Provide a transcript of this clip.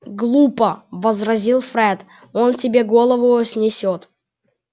глупо возразил фред он тебе голову снесёт